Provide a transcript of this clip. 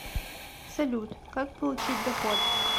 салют как получить доход